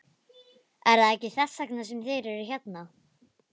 Er það ekki þess vegna sem þeir eru hérna?